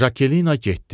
Jakelinna getdi.